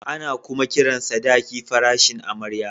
Ana kuma kiran sadaki farashin amarya